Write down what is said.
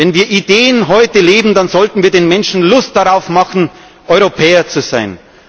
trägt. Wenn wir Ideen heute leben, dann sollten wir den Menschen Lust darauf machen, Europäer zu